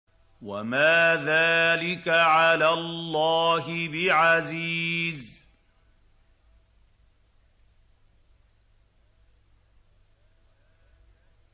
وَمَا ذَٰلِكَ عَلَى اللَّهِ بِعَزِيزٍ